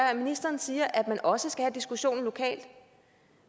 at ministeren siger at man også skal have diskussionen lokalt